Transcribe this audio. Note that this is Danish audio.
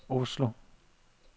Oslo